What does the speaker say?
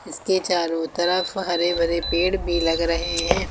इसके चारों तरफ हरे भरे पेड़ भी लग रहे हैं।